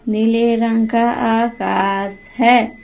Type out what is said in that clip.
नीले रंग का आकाश है।